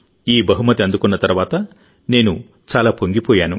ఈ బహుమతి అందుకున్న తర్వాత నేను చాలా పొంగిపోయాను